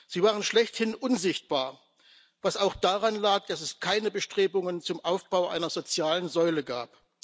sie waren schlechthin unsichtbar, was auch daran lag, dass es keine Bestrebungen zum Aufbau einer sozialen Säule gab.